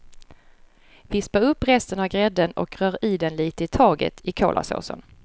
Vispa upp resten av grädden och rör i den lite i taget i kolasåsen.